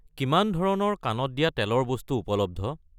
কিমান ধৰণৰ কাণত দিয়া তেল ৰ বস্তু উপলব্ধ?